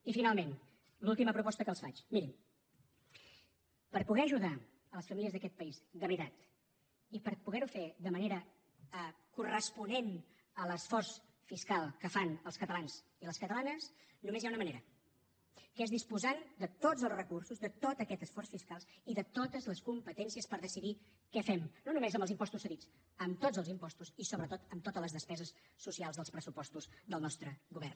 i finalment l’última proposta que els faig mirin per poder ajudar les famílies d’aquest país de veritat i per poder ho fer de manera corresponent a l’esforç fiscal que fan els catalans i les catalanes només hi ha una manera que és disposant de tots els recursos de tot aquest esforç fiscal i de totes les competències per decidir què fem no només amb els impostos cedits amb tots els impostos i sobretot amb totes les despeses socials dels pressupostos del nostre govern